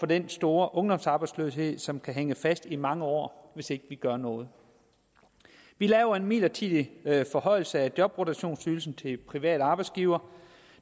den store ungdomsarbejdsløshed som kan hænge fast i mange år hvis ikke vi gør noget vi laver en midlertidig forhøjelse af jobrotationsydelsen til private arbejdsgivere